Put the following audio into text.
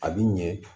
A bi ɲɛ